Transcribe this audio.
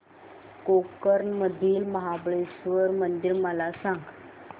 गोकर्ण मधील महाबलेश्वर मंदिर मला सांग